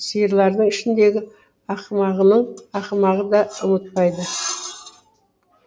сиырлардың ішіндегі ақымағының ақымағы да ұмытпайды